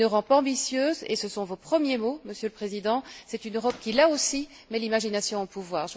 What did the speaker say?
Une Europe ambitieuse, et ce sont vos premiers mots, Monsieur le Président, c'est une Europe qui, là aussi, met l'imagination au pouvoir.